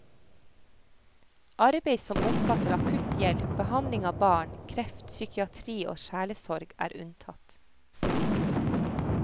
Arbeid som omfatter akutt hjelp, behandling av barn, kreft, psykiatri og sjelesorg er unntatt.